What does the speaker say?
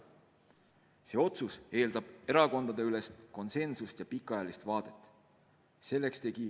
See otsus eeldab erakondadeülest konsensust ja pikaajalist vaadet.